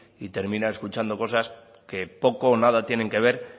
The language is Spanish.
y termina escuchando cosas que poco o nada tienen que ver